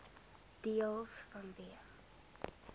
deels vanweë